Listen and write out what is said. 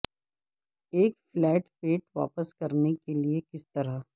ایک فلیٹ پیٹ واپس کرنے کے لئے کس طرح